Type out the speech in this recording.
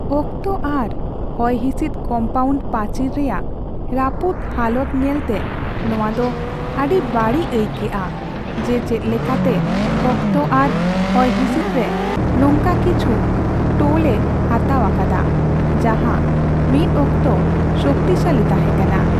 ᱚᱠᱛᱚ ᱟᱨ ᱦᱚᱭᱦᱤᱸᱥᱤᱫᱽ ᱠᱚᱢᱯᱟᱣᱩᱱᱰ ᱯᱟᱪᱤᱨ ᱨᱮᱭᱟᱜ ᱨᱟᱹᱯᱩᱫ ᱦᱟᱞᱚᱛ ᱧᱮᱞᱛᱮ, ᱱᱚᱶᱟ ᱫᱚ ᱟᱹᱰᱤ ᱵᱟᱹᱲᱤᱡ ᱟᱹᱭᱠᱟᱹᱜᱼᱟ ᱡᱮ ᱪᱮᱫ ᱞᱮᱠᱟᱛᱮ ᱚᱠᱛᱚ ᱟᱨ ᱦᱚᱭᱦᱤᱸᱥᱤᱫᱽ ᱨᱮ ᱱᱚᱝᱠᱟ ᱠᱤᱪᱷᱩ ᱴᱳᱞ ᱮ ᱦᱟᱛᱟᱣ ᱟᱠᱟᱫᱟ ᱡᱟᱦᱟᱸ ᱢᱤᱫ ᱚᱠᱛᱚ ᱥᱚᱠᱛᱤᱥᱟᱞᱤ ᱛᱟᱦᱮᱸ ᱠᱟᱱᱟ ᱾